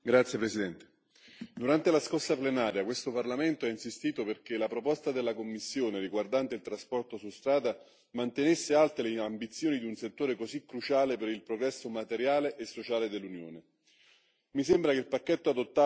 Signora Presidente, onorevoli colleghi, durante la scorsa plenaria questo Parlamento ha insistito perché la proposta della Commissione riguardante il trasporto su strada mantenesse alte le ambizioni di un settore così cruciale per il progresso materiale e sociale dell'Unione.